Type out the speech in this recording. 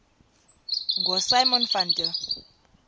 ngosimon van der